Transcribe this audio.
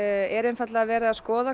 er einfaldlega verið að skoða